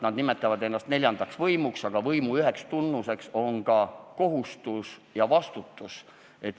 Nad nimetavad ennast neljandaks võimuks, aga võimu üheks tunnuseks on ka kohustused ja vastutus.